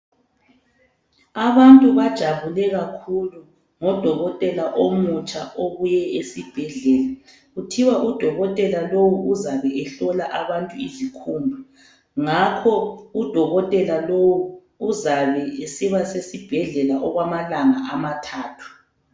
Abantu bajabule kakhulu ngodokotela omutsha obuye esibhedlela kuthiwa udokotela lowu uzabe ehlola abantu izikhumba, ngakho udokotela lowu uzabe esiba sesibhedlela okwamalanga amathathu.